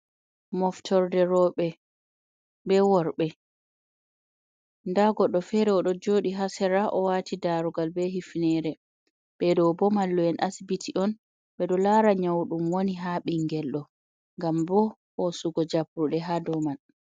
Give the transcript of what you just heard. Moftorde rowɓe be worɓe. Nda goɗɗo fere o ɗo jooɗi haa sera, o waati darugal, be hifnere Ɓe ɗo bo mallu'en asibiti on, ɓe ɗo laara nyau ɗum woni haa ɓingel ɗo, ngam bo, hoosugo jabruɗe haa dou man.